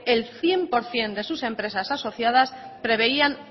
el cien por cien de sus empresas asociadas preveían